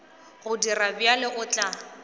go dira bjalo o tla